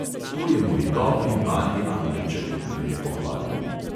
"To je moj dobri mali angelček," jo je pohvalil.